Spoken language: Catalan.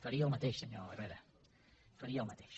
faria el mateix senyor herrera faria el mateix